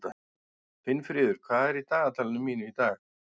Finnfríður, hvað er í dagatalinu mínu í dag?